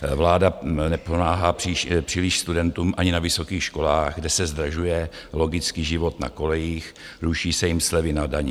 Vláda nepomáhá příliš studentům ani na vysokých školách, kde se zdražuje logicky život na kolejích, ruší se jim slevy na dani.